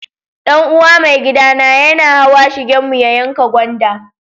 Dan uwa maigida na yana hawa shigen mu ya yanka gwanda.